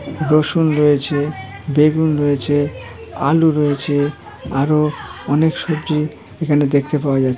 রসুন রয়েছেবেগুন রয়েছেআলু রয়েছে আরও অনেক সবজি এখানে দেখতে পাওয়া যাচ্ছে।